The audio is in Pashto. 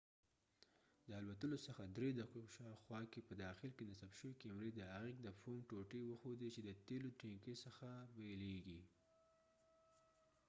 د الوتلو څخه درې دقیقو شاوخوا کې په داخل کې نصب شوې کیمرې د عایق د فوم ټوټې وښودې چې د تیلو د ټینکۍ څخه بیلیږي